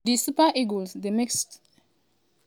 di super eagles dey make strong move wit dele-bashiru wit good pass.